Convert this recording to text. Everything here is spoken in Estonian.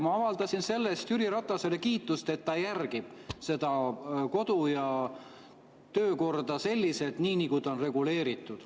Ma avaldasin Jüri Ratasele selle eest kiitust, et ta järgib kodu‑ ja töökorda selliselt, nagu seal on reguleeritud.